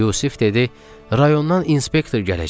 Yusif dedi: rayondan inspektor gələcək.